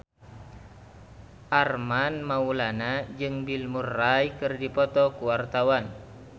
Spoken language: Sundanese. Armand Maulana jeung Bill Murray keur dipoto ku wartawan